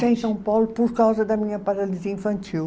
Em São Paulo por causa da minha paralisia infantil.